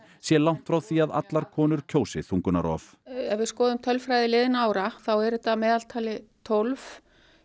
sé langt frá því að allar konur kjósi þungunarrof ef við skoðum tölfræði liðinna ára þá eru þetta að meðaltali tólf